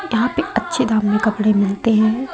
यहां पे अच्छे दाम में कपड़े मिलते हैं।